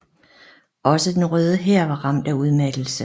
Også Den Røde Hær var ramt af udmattelse